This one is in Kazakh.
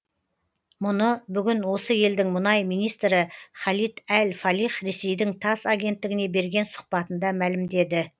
мұны бүгін осы елдің мұнай министрі халид әл фалих ресейдің тасс агенттігіне берген сұқбатында мәлімдеді